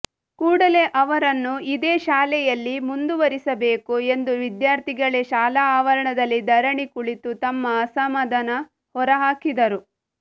ಕೂಡಲೇ ಅವರನ್ನು ಇದೇ ಶಾಲೆಯಲ್ಲಿ ಮುಂದುವರಿಸಬೇಕು ಎಂದು ವಿದ್ಯಾರ್ಥಿಗಳೇ ಶಾಲಾ ಆವರಣದಲ್ಲಿ ಧರಣಿ ಕುಳಿತು ತಮ್ಮ ಅಸಮಾಧಾನ ಹೊರ ಹಾಕಿದರು